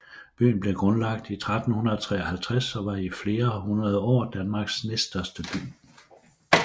Byen blev grundlagt i 1353 og var i flere hundrede år Danmarks næststørste by